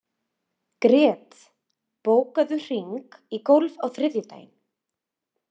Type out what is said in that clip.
Grét, bókaðu hring í golf á þriðjudaginn.